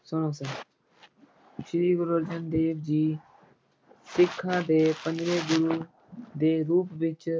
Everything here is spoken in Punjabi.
ਸ੍ਰੀ ਗੁਰੂ ਅਰਜਨ ਦੇਵ ਜੀ ਸਿੱਖਾਂ ਦੇ ਪੰਜਵੇਂ ਗੁਰੂ ਦੇ ਰੂਪ ਵਿੱਚ